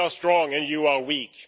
We are strong and you are weak'.